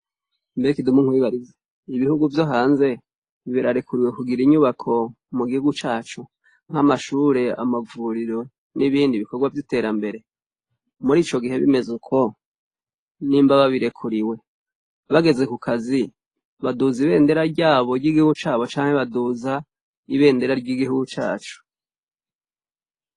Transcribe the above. Mbe Kidumu nkwibarize, ibihugu vyo hanze birarekuriwe kugira inyubako mu gihugu cacu nk'amashure, amavuriro n'ibindi bikorwa vy'iterambere? Muri Ico gihe bimeze uko, nimba babirekuriwe, bageze ku kazi, baduza ibendera ryabo ry'igihugu cabo canke baduza ibendera ry'ihugu cacu?